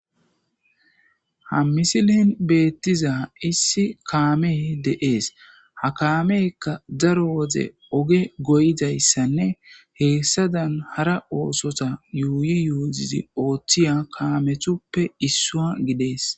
Ha misilen beettiza issi kaame de'ees ha kaamekka daro woze oge goyidayssanne heessadan hara oosota yuuyi yuuzizi ooththiya kaamethuppe issua gidees.